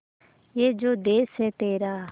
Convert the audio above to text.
ये जो देस है तेरा